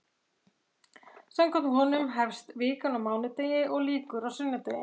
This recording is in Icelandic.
Samkvæmt honum hefst vikan á mánudegi og lýkur á sunnudegi.